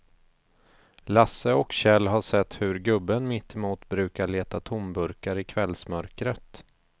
Lasse och Kjell har sett hur gubben mittemot brukar leta tomburkar i kvällsmörkret.